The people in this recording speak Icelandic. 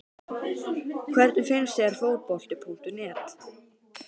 Hvernig finnst þér Fótbolti.net?